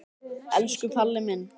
Elsku Palli minn.